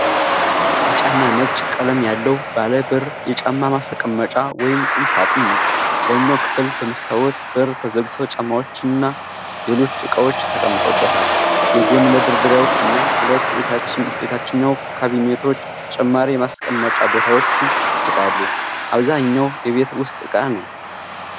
ቢጫና ነጭ ቀለም ያለው ባለ በር የጫማ ማስቀመጫ ወይም ቁም ሣጥን ነው። የላይኛው ክፍል በመስታወት በር ተዘግቶ ጫማዎችና ሌሎች ዕቃዎች ተቀምጠውበታል። የጎን መደርደሪያዎች እና ሁለት የታችኛው ካቢኔቶች ተጨማሪ የማስቀመጫ ቦታዎችን ይሰጣሉ። በአብዛኛው የቤት ውስጥ ዕቃ ነው።